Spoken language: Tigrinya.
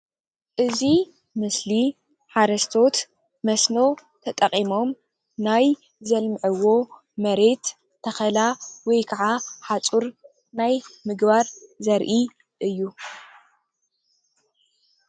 እዚ ምስሊ ሓርስቶት መስኖ ተጠቂሞም ናይ ዘልምዕዎ መሬት ተኸላ ወይ ከዓ ሓፁር ናይ ምግባር ዘርኢ እዩ።